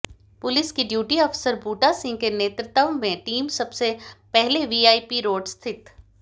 police के duty अफसर बूटा सिंह के नेतृत्व में टीम सबसे पहले वीआईपी रोड स्थित